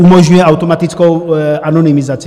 Umožňuje automatickou anonymizaci.